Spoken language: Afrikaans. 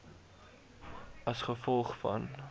a g v